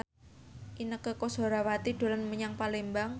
Inneke Koesherawati dolan menyang Palembang